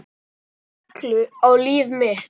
Koma reglu á líf mitt.